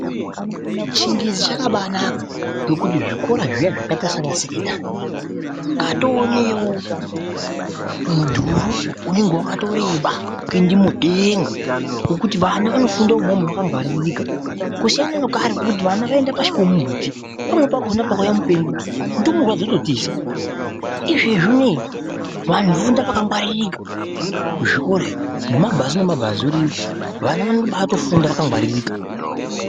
Chingezi chakabanaka ngekuti zvikora zviya zvakaita sanasekendari kwatonewo mudhuru unenge wakatoreba kuende mudenga ngokuti vana vanofunda umomo vakangwaririka kusiyana nekare kwekuti vana vaienda pashi pemumbuti pumweni pakona pakauya mupengo numurwa dzototiza. Izvezvi unei vantu voenda pakangaririka kuzvikorayo nemumabhazi nemubhazi ariyo vana vanobatofunda vakangwaririka .